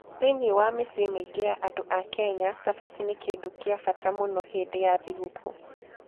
Thĩinĩ wa mĩciĩ mĩingĩ ya andũ a Kenya, cabaci nĩ kĩndũ kĩa bata mũno hĩndĩ ya thigũkũ.